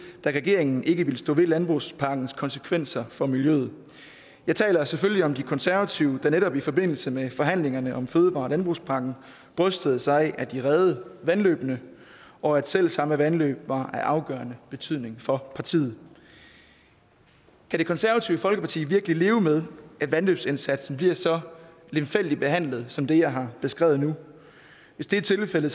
da regeringen ikke ville stå ved landbrugspakkens konsekvenser for miljøet jeg taler selvfølgelig om de konservative der netop i forbindelse med forhandlingerne om fødevare og landbrugspakken brystede sig af at de reddede vandløbene og at selv samme vandløb var af afgørende betydning for partiet kan det konservative folkeparti virkelig leve med at vandløbsindsatsen bliver så lemfældigt behandlet som det jeg har beskrevet nu hvis det er tilfældet